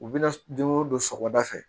U bɛna don o don sɔgɔmada fɛ